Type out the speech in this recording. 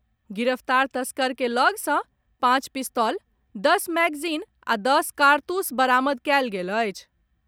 गिरफतार तस्कर के लऽग सँ पांच पिस्तौल, दस मैगजीन आ दस कारतूस बरामद कयल गेल अछि।